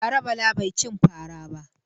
Bara Bala bai cin fara ba.